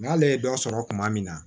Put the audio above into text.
N'ale ye dɔ sɔrɔ kuma min na